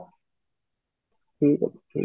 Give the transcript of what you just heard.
ଠିକ ଅଛି